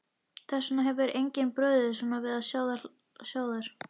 Þess vegna hefur henni brugðið svona við að sjá þær.